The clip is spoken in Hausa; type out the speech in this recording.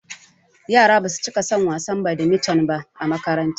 Yara basu cika son wasan badimiton ba a makaranta